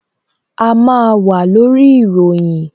A máa wà lórí ìròyìn